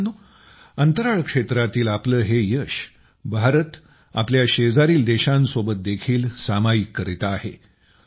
मित्रांनो अंतराळ क्षेत्रातील आपले हे यश भारत आपल्या शेजारील देशांसोबत देखील सामायिक करीत आहे